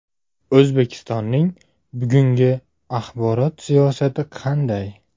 O‘zbekistonning bugungi axborot siyosati qanday?